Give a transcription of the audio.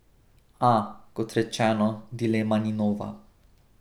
A, kot rečeno, dilema ni nova.